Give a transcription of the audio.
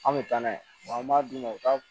An bɛ taa n'a ye an b'a d'u ma u ka